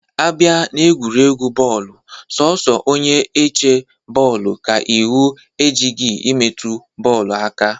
Abịa n'egwuregwu bọọlụ, sọọsọ onye-eche goolu ka iwu ejighị imetụ bọọlụ aka.